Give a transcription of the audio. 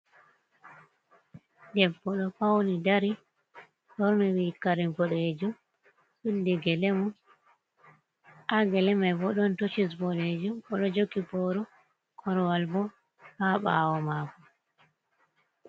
Debbo ɗo fauni dari borni kare boɗejum suddi gelemun, ha geleman bo don tocis bodejum bo do joki boru korwal bo ha bawo maku.